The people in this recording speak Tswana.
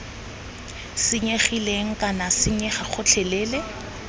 senyegileng kana d senyega gotlhelele